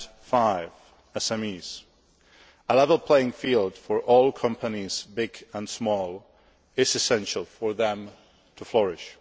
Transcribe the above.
Fifthly, on SMEs, a level playing field for all companies, big and small, is essential for them to flourish.